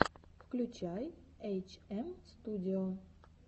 включай эйчэмстудио